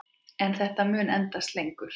En þetta mun endast lengur.